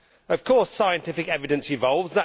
Of course scientific evidence evolves.